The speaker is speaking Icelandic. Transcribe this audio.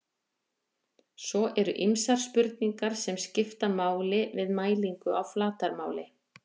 svo eru ýmsar spurningar sem skipta máli við mælingu á flatarmáli